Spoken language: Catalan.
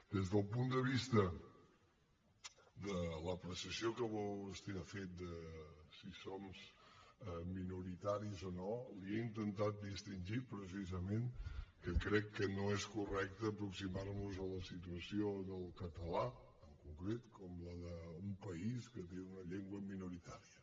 des del punt de vista de l’apreciació que vostè ha fet de si som minoritaris o no li he intentat distingir precisament que crec que no és correcte aproximar nos a la situació del català en concret com la d’un país que té una llengua minoritària